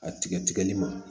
A tigɛ tigɛli ma